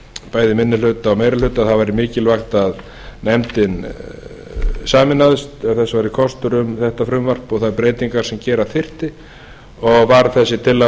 bæði í minni hluta og meiri hluta að það væri mikilvægt að nefndin sameinaðist ef þess væri kostur um þetta frumvarp og þær breytingar sem gera þyrfti og varð þessi tillaga